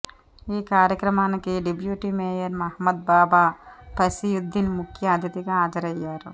ఈ కార్యక్రమానికి deputy mayor Mohammed Baba Fasiuddin ముఖ్య అతిథిగా హాజరయ్యారు